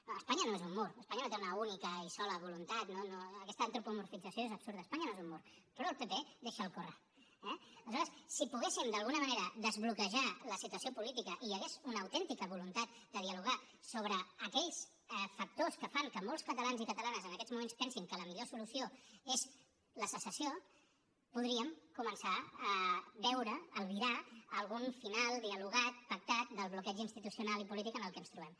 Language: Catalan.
no espanya no és un mur espanya no té una única i sola voluntat no no aquesta antropomorfització és absurda espanya no és un mur però al pp deixa’l córrer eh aleshores si poguéssim d’alguna manera desbloquejar la situació política i hi hagués una autèntica voluntat de dialogar sobre aquells factors que fan que molts catalans i catalanes en aquests moments pensin que la millor solució és la secessió podríem començar a veure albirar algun final dialogat pactat del bloqueig institucional i polític en el que ens trobem